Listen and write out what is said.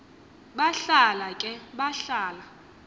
bahlala ke bahlala